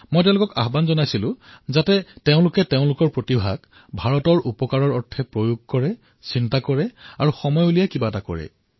মই তেওঁলোকক আহ্বান কৰিছিলো যে তেওঁলোকে ভাৰতৰ বাবে নিজৰ প্ৰতিভাক কিদৰে ব্যৱহাৰ কৰিব পাৰে এয়া ভাবক আৰু সময় উলিয়াই কিবা এটা কৰক